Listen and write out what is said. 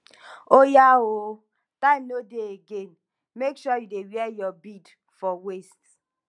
oya ooo time no dey again make sure you dey wear your bead for waist